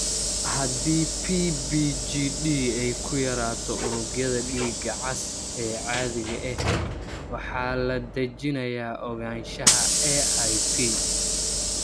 Haddii PBGD ay ku yaraato unugyada dhiiga cas ee caadiga ah, waxaa la dejinayaa ogaanshaha AIP.